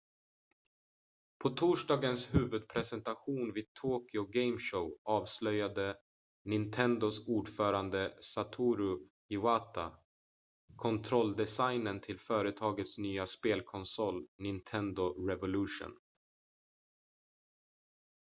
på torsdagens huvudpresentation vid tokyo game show avslöjade nintendos ordförande satoru iwata kontrolldesignen till företagets nya spelkonsol nintendo revolution